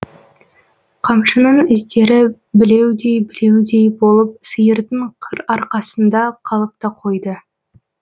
қамшының іздері білеудей білеудей болып сиырдың қыр арқасында қалып та қойды